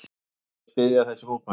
Hann sagðist styðja þessi mótmæli.